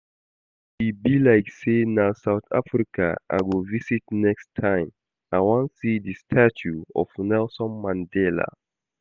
E be like say na South Africa I go visit next time. I wan see the statue of Nelson Mandela